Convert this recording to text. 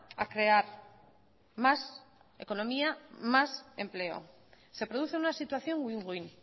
a crear más economía más empleo se produce una situación win win